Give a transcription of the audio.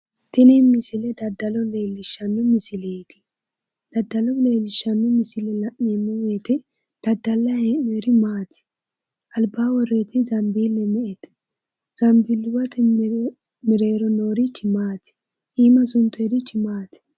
Tini misile daddalo leellishshanno misileeti daddalo leellishshanno misile la'neemmo woyite daddallayi hee'nooyiri maati? Albaa worroyeti zanbiille me"ete?, Zanbiilluwate mereero noorichi maati? Iima suntoyeirichi maati?